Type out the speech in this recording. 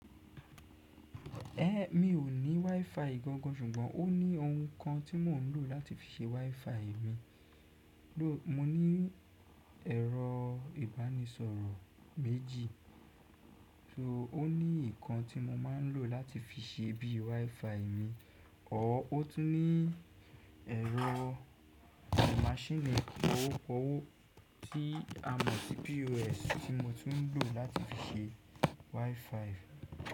Ẹ̀, mi ò ní WiFi gangan ṣùgbọ́n ó ní ohun kan tí mò ń lò láti fi ṣe WiFi mi. Mo ní ẹ̀rọ ìbánisọ̀rọ̀ méjì, so ó ní ìkan tí mo máa ń lò láti fi ṣe bíi WiFi mi, àọ́ ó tún ní ẹ̀rọ máṣíìnì pọwọ́pọwọ́ tí a mọ̀ sí POS tí mo tún ń lò láti fi ṣe WiFi.